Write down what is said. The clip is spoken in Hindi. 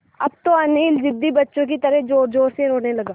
अब तो अनिल ज़िद्दी बच्चों की तरह ज़ोरज़ोर से रोने लगा